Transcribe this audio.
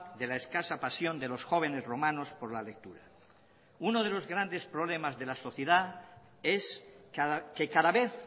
de la escasa pasión de los jóvenes romanos por la lectura uno de los grandes problemas de la sociedad es que cada vez